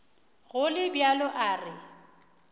go le bjalo a re